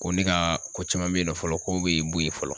Ko ne ka ko caman be yen nɔ fɔlɔ ,ko be bo yen fɔlɔ.